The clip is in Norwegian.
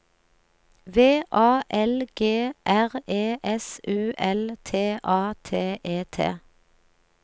V A L G R E S U L T A T E T